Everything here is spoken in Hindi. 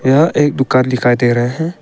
यह एक दुकान दिखाई दे रहे हैं।